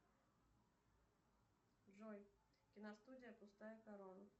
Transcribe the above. джой киностудия пустая корона